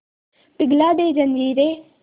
पिघला दे जंजीरें